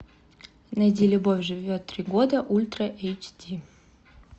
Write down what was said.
найди любовь живет три года ультра эйч ди